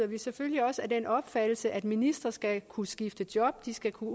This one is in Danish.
vi selvfølgelig også af den opfattelse at ministre skal kunne skifte job de skal kunne